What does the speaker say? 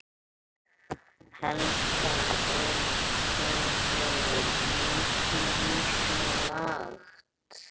Helga: Er ekki svolítið mikið á sig lagt?